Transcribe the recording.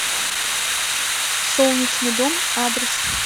солнечный дом адрес